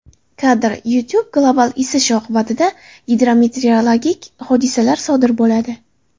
Kadr: YouTube Global isish oqibatida gidrometeorologik hodisalar sodir bo‘ladi.